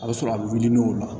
A bɛ sɔrɔ a bɛ wili n'o la